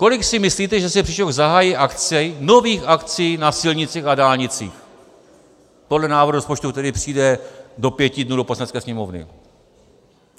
Kolik si myslíte, že se příští rok zahájí akcí, nových akcí na silnicích a dálnicích podle návrhu rozpočtu, který přijde do pěti dnů do Poslanecké sněmovny?